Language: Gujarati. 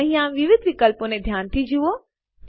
અહીંયા વિવિધ વિકલ્પો ધ્યાનથી જુઓ